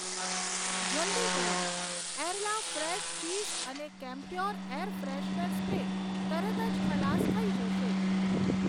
જલદી કરો, Arla fresh cheese અને કેમપ્યોર એર ફ્રેશનર સ્પ્રે તરત જ ખલાસ થઈ જશે.